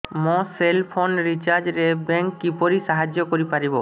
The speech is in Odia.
ମୋ ସେଲ୍ ଫୋନ୍ ରିଚାର୍ଜ ରେ ବ୍ୟାଙ୍କ୍ କିପରି ସାହାଯ୍ୟ କରିପାରିବ